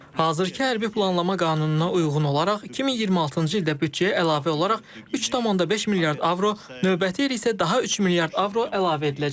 Hazırkı hərbi planlama qanununa uyğun olaraq 2026-cı ildə büdcəyə əlavə olaraq 3.5 milyard avro, növbəti il isə daha 3 milyard avro əlavə ediləcək.